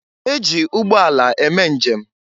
E ji ụgbọala eme njem.